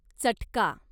चटका